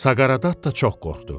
Saqareddatta çox qorxdu.